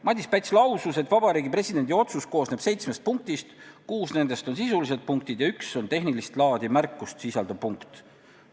Madis Päts lausus, et Vabariigi Presidendi otsus koosneb seitsmest punktist, kuus nendest on sisulised punktid ja üks on tehnilist laadi märkust sisaldav punkt.